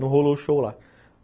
Não rolou o show lá.